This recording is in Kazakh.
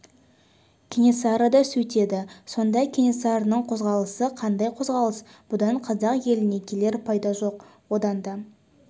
кенесары да сөйтеді сонда кенесарының қозғалысы қандай қозғалыс бұдан қазақ еліне келер пайда жоқ одан да